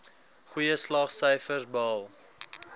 goeie slaagsyfers behaal